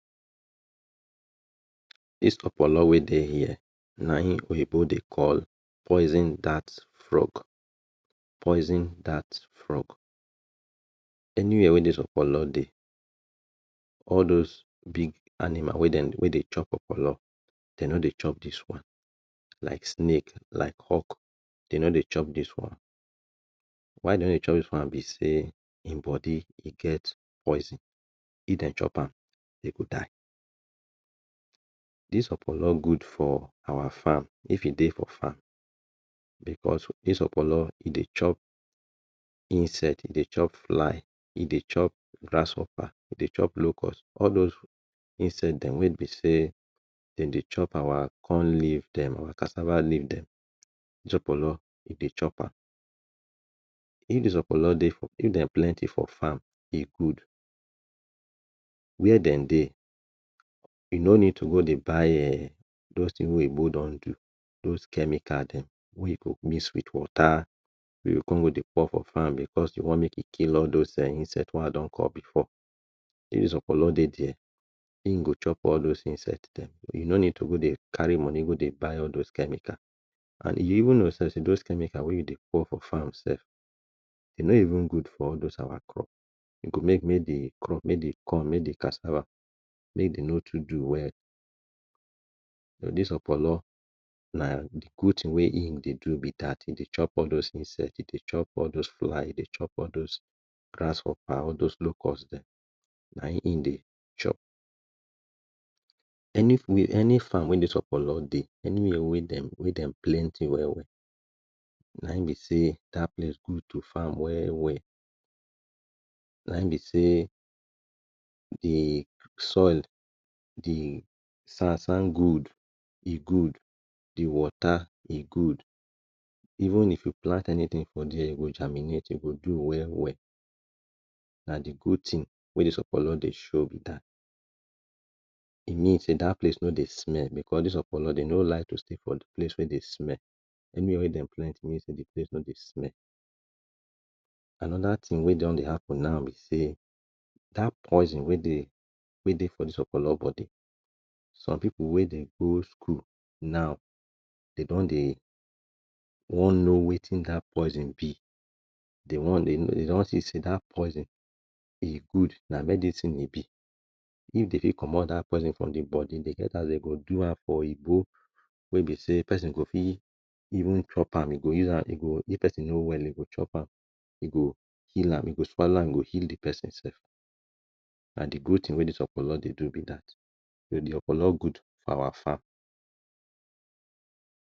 This okpolo wey dey here na him oyibo dey call poison that rock. Poison that rock. Anywhere wey this okpolo dey all those big animals wey dey chop okpolo, they no dey chop this one. Like snake, like hawk, dey no dey chop this one. Why dey no dey chop this one be sey, him body get poison. If dey chop am, e go die. This okpolo good for our farm if hin dey for our farm Because this okpolo e dey chop insect ,e dey chop fly, e dey chop grasshopper e dey chop locust. All those insect dem wey be sey dem dey chop our corn leaves dem, our cassava leave dem, this okpolo e dey chop am. If this okpolo dey, if dem plenty for farm, e good. Where dem dey, you no need to go dey buy um those things wey oyibo don do, those chemicals dem dey mix with water we you go come go dey pour for farm because you want make e kill all those insect wey I don call before. If this okpolo dey there, him go chop all those insect them. You no need to carry money go dey buy all those chemicals and you even know sey those chemicals we you dey pour for farm self, e no even good for those our crops. E go make make de crop, make de corn, make de cassava make dem no too do well. But this okpolona na good thing wey im dey do be that. Dey chop all those things sef: e dey chop all those flies, all those grasshopper, all those locust dem na im dey chop. Any where any farm wey this okpolo dey, anywhere wey dem plenty well well na im be sey that place good to farm good to farm well well. Na im be say de soil, de sand sand good. E good. The wata e good, even if you plant anything for there, e go germinate, e go do well well. And na d good thing wey this okpolo dey show be that. E mean sey that place no dey smell because this okpolo dem no like de place wey dey smell, anywhere wey dem plenty, know sey de place no dey smell. Another thing we don dey happen now be sey that poison we dey for this okpolo body, some people wey dey go school now dey don dey one know wetin that poison be. Dey don see sey that poison e good, na medicine e be. If dem dey comot that poison from de body e get as dem go do am. For oyibo, wey be sey person go fit even chop am e go use am, if person no well e go chop am, e go heal am, e go swallow am e go heal de person self. Na de good thing wey this okpolo dey do be that. De okpolo good for our farm.